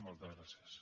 moltes gràcies